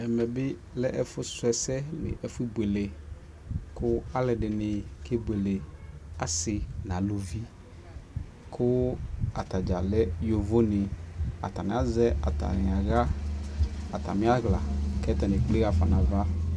ɛmɛ bi lɛ ɛƒʋ srɔ ɛsɛ nʋ ɛƒʋ bʋɛlɛ kʋ alʋɛdini kɛ bʋɛlɛ asii nʋ alʋvi kʋ atagya lɛ yɔvɔ ni, atani azɛ atani ala atami ala kʋ atani ɛkplɛ haƒa nʋ aɣa.